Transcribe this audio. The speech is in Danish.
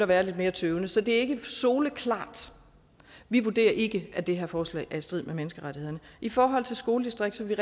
være lidt mere tøvende så det er ikke soleklart vi vurderer ikke at det her forslag er i strid med menneskerettighederne i forhold til skoledistrikter vil